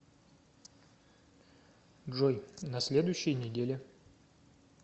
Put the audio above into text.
джой на следующей неделе